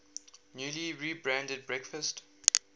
newly rebranded breakfast